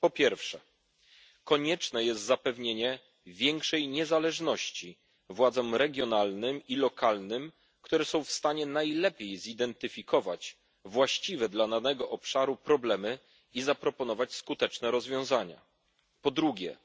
Po pierwsze, konieczne jest zapewnienie większej niezależności władzom regionalnym i lokalnym, które są w stanie najlepiej zidentyfikować właściwie dla danego obszaru problemy i zaproponować skuteczne rozwiązania. Po drugie,